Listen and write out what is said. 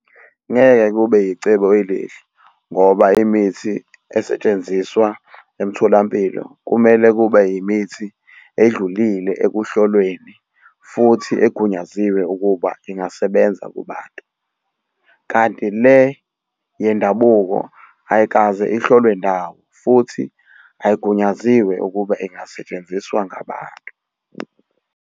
Ngeke kube icebo elihle ngoba imithi esetshenziswa emtholampilo kumele kube yimithi edlulile ekuhlolweni futhi egunyaziwe ukuba ingasebenza kubantu. Kanti le yendabuko ayikaze ihlolwe ndawo futhi ayigunyaziwe ukuba ingasetshenziswa ngabantu.